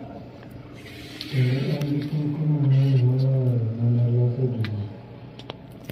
Kendo en gi teko mang�eny moloyo mana loso gi ji.